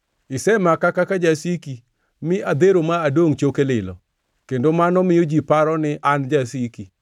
Isemaka kaka jasiki, mi adhero ma adongʼ choke lilo, kendo mano miyo ji paro ni an jasiki.